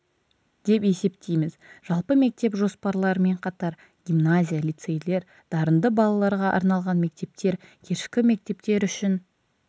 деп есептейміз жалпы мектеп жоспарларымен қатар гимназия лицейлер дарынды балаларға арналған мектептер кешкі мектептер үшін